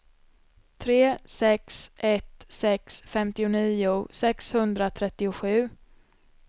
tre sex ett sex femtionio sexhundratrettiosju